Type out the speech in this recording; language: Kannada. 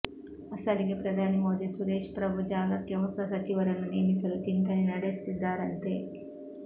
ಅಸಲಿಗೆ ಪ್ರಧಾನಿ ಮೋದಿ ಸುರೇಶ್ ಪ್ರಭು ಜಾಗಕ್ಕೆ ಹೊಸ ಸಚಿವರನ್ನು ನೇಮಿಸಲು ಚಿಂತನೆ ನಡೆಸುತ್ತಿದ್ದಾರಂತೆ